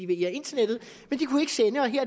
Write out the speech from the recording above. via internettet